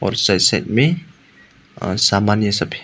और side side में सामान ये सब है।